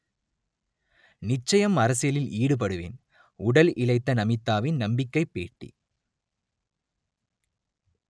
நிச்சயமாக அரசியலில் ஈடுபடுவேன் உடல் இளைத்த நமிதாவின் நம்பிக்கை பேட்டி